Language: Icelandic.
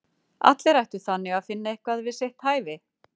allir ættu þannig að finna eitthvað við sitt hæfi!